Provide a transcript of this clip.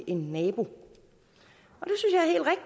en nabo